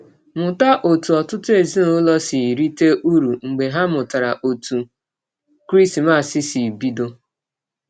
Mụta ọtụ ọtụtụ ezinụlọ si rite ụrụ mgbe ha matara ọtụ Krismas si bidọ.